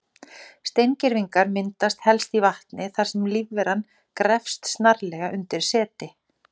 Steingervingar myndast helst í vatni þar sem lífveran grefst snarlega undir seti.